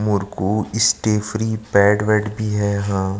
मुरकु स्ट्रेफ्री पेड वेड भी है यहाँ--